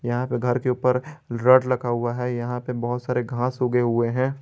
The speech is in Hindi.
यहां पे घर के ऊपर रॉड लगा हुआ यहां पे बहुत सारे घास उगें हुए हैं।